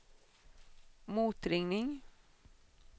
motringning